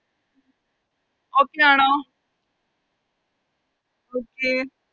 Okay ആണോ Okay